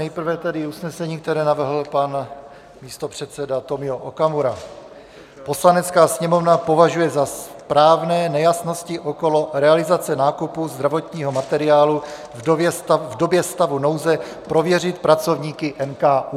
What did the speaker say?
Nejprve tedy usnesení, které navrhl pan místopředseda Tomio Okamura: "Poslanecká sněmovna považuje za správné nejasnosti okolo realizace nákupu zdravotního materiálu v době stavu nouze prověřit pracovníky NKÚ."